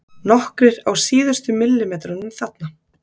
Nokkrir á síðustu millimetrunum þarna.